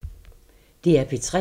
DR P3